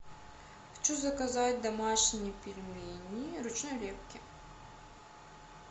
хочу заказать домашние пельмени ручной лепки